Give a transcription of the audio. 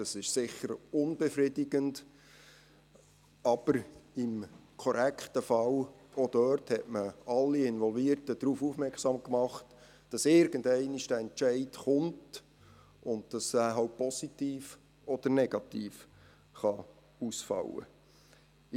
Das ist sicherlich unbefriedigend, aber im korrekten Fall hat man auch dort alle Involvierten darauf aufmerksam gemacht, dass dieser Entscheid irgendwann folgen würde und dass er positiv oder negativ würde ausfallen können.